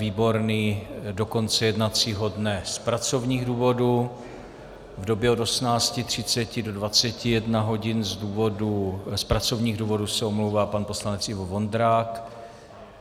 Výborný do konce jednacího dne z pracovních důvodů, v době od 18.30 do 21 hodin z pracovních důvodů se omlouvá pan poslanec Ivo Vondrák.